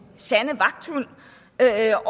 sande vagthund er